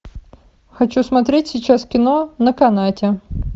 хочу смотреть сейчас кино на канате